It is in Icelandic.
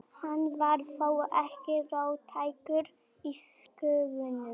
Hann var þó ekki róttækur í skoðunum.